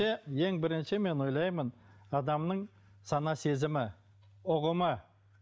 ең бірінші мен ойлаймын адамның сана сезімі ұғымы